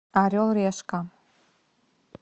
орел решка